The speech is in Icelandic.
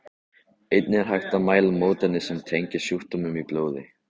Einnig er hægt að mæla mótefni sem tengjast sjúkdómnum í blóði.